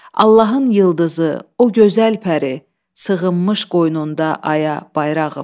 Allahın yıldızı, o gözəl pəri, sığınmış qoynunda aya, bayrağım.